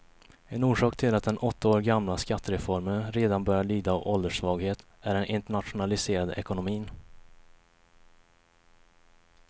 En orsak till att den åtta år gamla skattereformen redan börjar lida av ålderssvaghet är den internationaliserade ekonomin.